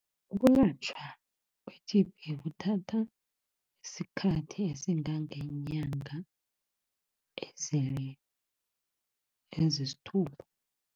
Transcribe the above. Ukulatjhwa kwe-T_B kuthatha isikhathi esingangeenyanga ezisithupha.